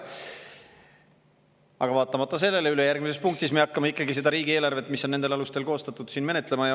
Aga vaatamata sellele hakkame me ikkagi ülejärgmises punktis seda riigieelarvet, mis on nendel alustel koostatud, siin menetlema.